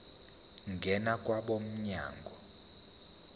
ngena kwabo mnyango